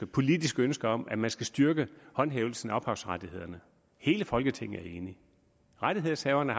politisk ønske om at man skal styrke håndhævelsen af ophavsrettighederne hele folketinget er enigt rettighedshaverne